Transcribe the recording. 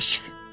Kəşf.